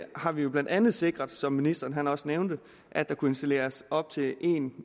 har vi jo blandt andet sikret som ministeren også nævnte at der kunne installeres op til en